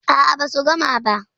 A'a, basu gama ba.